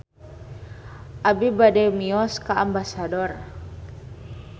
Abi bade mios ka Ambasador